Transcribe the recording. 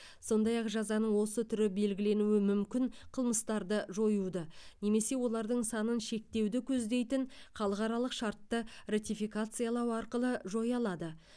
сондай ақ жазаның осы түрі белгіленуі мүмкін қылмыстарды жоюды немесе олардың санын шектеуді көздейтін халықаралық шартты ратификациялау арқылы жоя алады